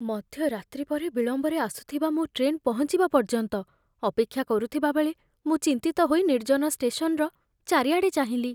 ମଧ୍ୟରାତ୍ରି ପରେ ବିଳମ୍ବରେ ଆସୁଥିବା ମୋ ଟ୍ରେନ୍ ପହଞ୍ଚିବା ପର୍ଯ୍ୟନ୍ତ ଅପେକ୍ଷା କରୁଥିବା ବେଳେ, ମୁଁ ଚିନ୍ତିତ ହୋଇ ନିର୍ଜନ ଷ୍ଟେସନ୍‌ର ଚାରିଆଡ଼େ ଚାହିଁଲି।